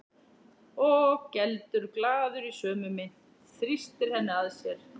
Og geldur glaður í sömu mynt, þrýstir henni að sér.